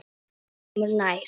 Kemur nær.